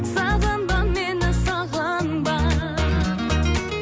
сағынба мені сағынба